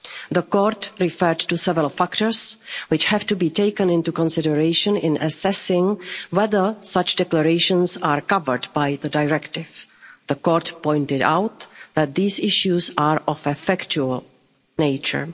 The Court referred to several factors which have to be taken into consideration in assessing whether such declarations are covered by the directive. The Court pointed out that these issues are of a factual